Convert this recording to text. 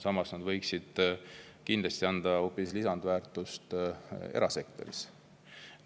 Samas võiksid nad anda lisandväärtust hoopis erasektoris.